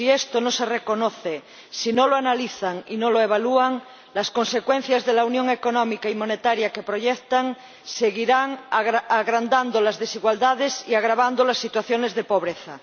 Si esto no se reconoce, si no lo analizan y no lo evalúan, las consecuencias de la unión económica y monetaria que proyectan seguirán agrandando las desigualdades y agravando las situaciones de pobreza.